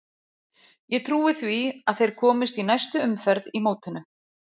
Ég trúi því að þeir komist í næstu umferð í mótinu.